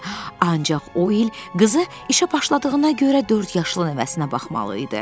Ancaq o il qızı işə başladığına görə dörd yaşlı nəvəsinə baxmalı idi.